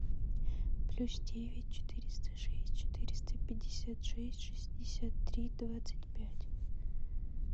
плюс девять четыреста шесть четыреста пятьдесят шесть шестьдесят три двадцать пять